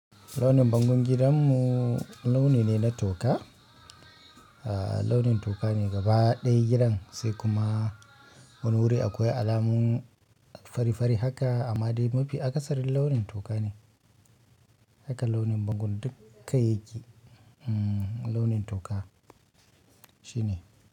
Launin bangon gidanmu launi ne na toka, launin toka ne gaba ɗaya gidan, sai kuma wani wuri akwai alamun farifari haka, amma dai mafi akasarin launin toka ne. Haka launin bangon dukkan gi, uhm, launin toka, shine.